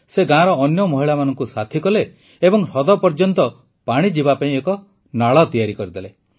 ସେ ଗାଁର ଅନ୍ୟ ମହିଳାମାନଙ୍କୁ ସାଥୀ କଲେ ଏବଂ ହ୍ରଦ ପର୍ଯ୍ୟନ୍ତ ପାଣି ଯିବା ପାଇଁ ଏକ ନାଳ ତିଆରି କରିଦେଲେ